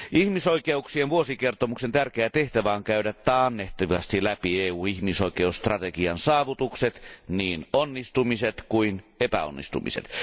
Ihmisoikeuksien vuosikertomuksen tärkeä tehtävä on käydä taannehtivasti läpi EUn ihmisoikeusstrategian saavutukset, niin onnistumiset kuin epäonnistumiset.